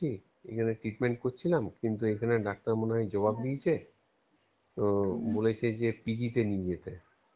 এখানে treatment করছিলাম কিন্তু এখানে Doctor মনেহয় জবাব দিয়েছে তো বলেছে যে PG তে নিয়ে যেতে